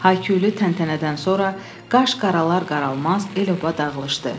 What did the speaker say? Hay-küylü təntənədən sonra qaş qaralar-qaralmaz el oba dağılışdı.